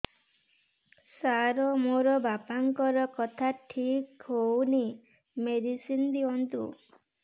ସାର ମୋର ବାପାଙ୍କର କଥା ଠିକ ହଉନି ମେଡିସିନ ଦିଅନ୍ତୁ